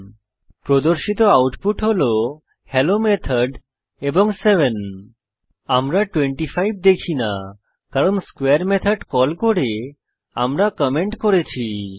এখন প্রদর্শিত আউটপুট হল হেলো মেথড এবং 7 আমরা 25 দেখি না কারণ স্কোয়ারে মেথড কল করে আমরা কমেন্ট করেছি